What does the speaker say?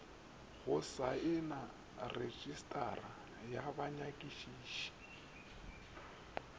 go saena retšistara ya banyakišiši